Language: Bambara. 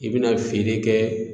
I bɛna feere kɛ.